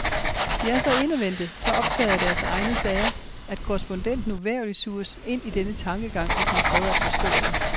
De er så indadvendte, så optagede af deres egne sager, at korrespondenten uvægerligt suges ind i denne tankegang, hvis han prøver at forstå den.